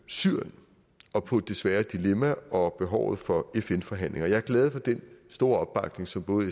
syrien og på det svære dilemma og behovet for fn forhandlinger jeg er glad for den store opbakning som både